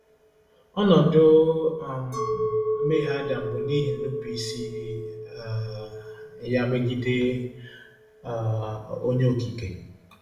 Ọnọdụ um mmehie Adam bụ n’ihi nnupụisi um ya megide um Onye Okike.